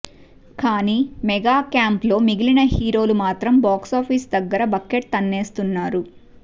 కానీ mega camp లో మిగిలిన హీరోలు మాత్రం బాక్సాఫీస్ దగ్గర బకెట్ తన్నేస్తున్నారు